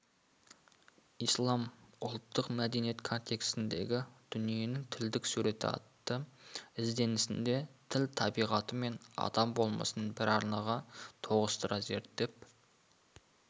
ислам ұлттық мәдениет контексіндегі дүниенің тілдік суреті атты ізденісінде тіл табиғаты мен адам болмысын бір арнаға тоғыстыра зерттеп